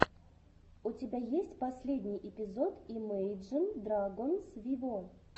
у тебя есть последний эпизод имейджин драгонс виво